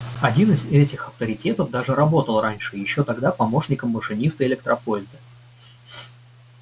один из этих авторитетов даже работал раньше ещё тогда помощником машиниста электропоезда